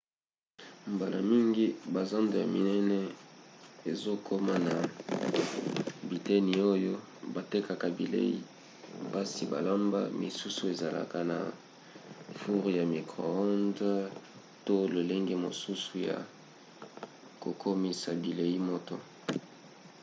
mbala mingi bazando ya minene ezokoma na biteni oyo batekaka bilei basi balamba. misusu ezalaka na foure ya micro-ondes to lolenge mosusu ya kokomisa bilei moto